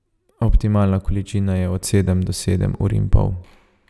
Optimalna količina je od sedem do sedem ur in pol.